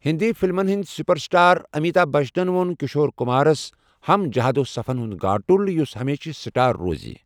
ہندی فلمن ہندِ super star Amitabh بچنن وو٘ن کشور کمارس ہمٕ جہد وصفن ہُند گاٹُل یُس ہمیشہِ سٹار روزِ ۔